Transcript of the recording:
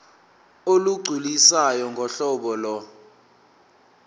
olugculisayo ngohlobo lo